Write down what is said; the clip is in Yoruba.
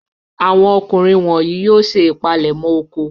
Àwọn ọkùnrin wọ̀nyí yóò ṣe ìpalẹ̀mọ́ oko.